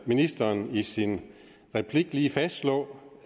ministeren i sin replik lige fastslå